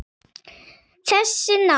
Þessi ná